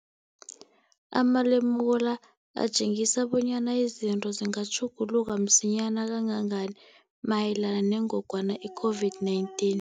Amalemuko la atjengisa bonyana izinto zingatjhuguluka msinyana kangangani mayelana nengogwana i-COVID-19.